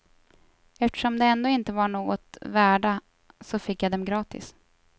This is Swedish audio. Eftersom de ändå inte var något värda så fick jag dem gratis.